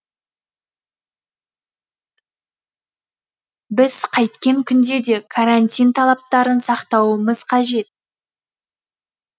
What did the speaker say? біз қайткен күнде де карантин талаптарын сақтауымыз қажет